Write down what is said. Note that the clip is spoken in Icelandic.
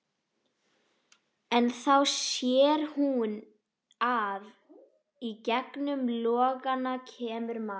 En þá sér hún að í gegnum logana kemur maður.